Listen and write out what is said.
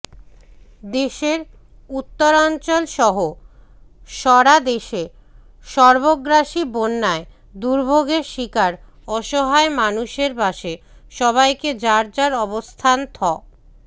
দেশের উত্তরাঞ্চলসহ সরাদেশে সর্বগ্রাসী বন্যায় দুর্ভোগের শিকার অসহায় মানুষের পাশে সবাইকে যার যার অবস্থান থ